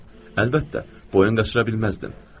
Əlbəttə, boyun qaçıra bilməzdim.